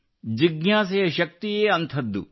ಜಿಜ್ಞಾಸೆಯ ಶಕ್ತಿಯೇ ಅಂಥದ್ದು